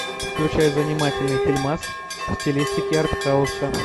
включай занимательный фильмас в стилистике артхауса